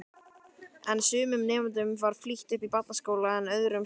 En sumum nemendum var flýtt upp barnaskólann en öðrum seinkað.